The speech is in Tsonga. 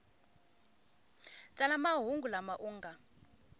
tsala mahungu lama u nga